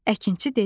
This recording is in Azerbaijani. Əkinçi dedi: